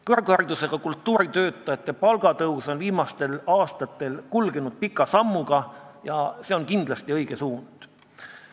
Kõrgharidusega kultuuritöötajate palga tõstmine on viimastel aastatel kulgenud pika sammuga ja see on kindlasti õige suund.